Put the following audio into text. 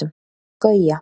Gauja